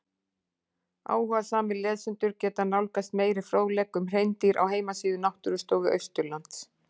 Áhugasamir lesendur geta nálgast meiri fróðleik um hreindýr á heimasíðu Náttúrustofu Austurlands.